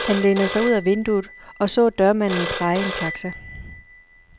Han lænede sig ud af vinduet, og så dørmanden praje en taxa.